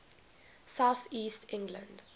south east england